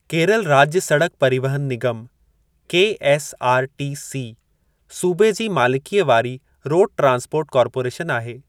केरल राज्य सड़क परिवहन निगम (केएसआरटीसी) सूबे जी मालिकीअ वारी रोड ट्रांस्पोर्ट कार्पोरेशन आहे।